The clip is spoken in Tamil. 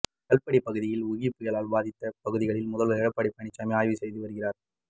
கல்படி பகுதியில் ஒகி புயலால் பாதித்த பகுதிகளில் முதல்வர் எடப்பாடி பழனிசாமி ஆய்வு செய்து வருகிறார்